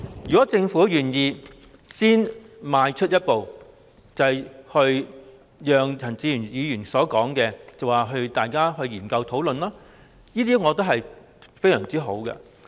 如果政府願意先邁出一步，如陳志全議員所說讓大家作出研究、討論，我認為會非常好。